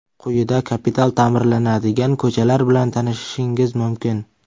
Quyida kapital ta’mirlanadigan ko‘chalar bilan tanishishingiz mumkin.